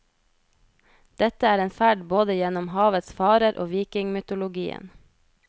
Dette er en ferd både gjennom havets farer og vikingmytologien.